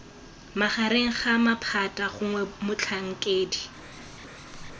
magareng ga maphata gongwe motlhankedi